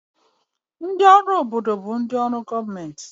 Ndị ọrụ obodo bụ ndị ọrụ gọọmentị